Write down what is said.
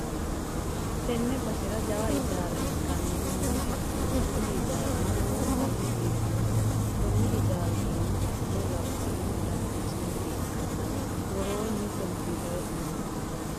tenne basera jawa ijaara ikkinohu nooha ikkanna, kuni hijaarino lowontanni biifannoho, konni hijaari iima afiro labballu dananchi mine ikkanna, woroonni kompiiterete mini no.